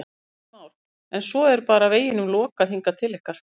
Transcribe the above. Kristján Már: En svo er bara veginum lokað hingað til ykkar?